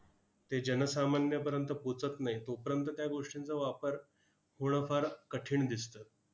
ते जनसामान्यपर्यंत पोचत नाहीत, तोपर्यंत त्या गोष्टींचा वापर होणं फार कठीण दिसतं.